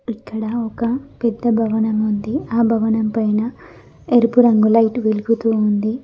ఇక్కడ ఒక పెద్ద భవనం ఉంది ఆ భవనం పైన ఎరుపు రంగు లైట్ వెలుగుతూ ఉంది.